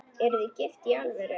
Eruð þið gift í alvöru?